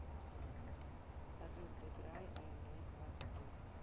салют играй аймэй хвосты